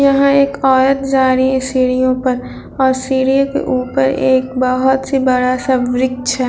यहाँ एक औरत जा रही है सीढ़ियों पर और सीढ़यों के ऊपर एक ही बड़ा सा वृक्ष है।